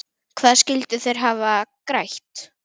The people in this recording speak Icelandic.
Hvað skyldu þeir hafa grætt?